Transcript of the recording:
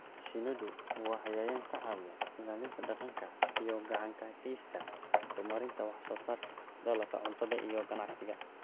Shinnidu waa cayayaan ka caawiya ilaalinta deegaanka oo gacan ka geysta horumarinta wax soo saarka dalagga cuntada iyo ganacsiga.